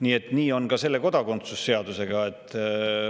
Nii on ka kodakondsuse seaduse.